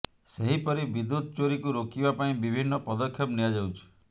ସେହପରି ବିଦୁ୍ୟତ ଚୋରୀକୁ ରୋକିବା ପାଇଁ ବିଭିନ୍ନ ପଦକ୍ଷେପ ନିଆଯାଉଛି